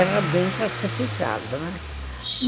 Era bem classificado, né?